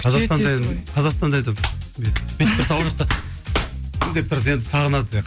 қазақстанда енді қазақстанда әйтеуір бүйтіп тұрса ол жақта деп тұрады енді сағынады иә